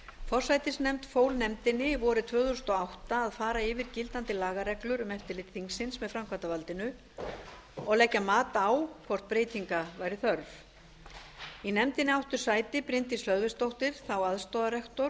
forsætisnefnd fól nefndinni vorið tvö þúsund og átta að fara yfir gildandi lagareglur um eftirlit þingsins með framkvæmdarvaldinu og leggja mat á hvort breytinga væri þörf í nefndinni áttu sæti bryndís hlöðversdóttir þá aðstoðarrektor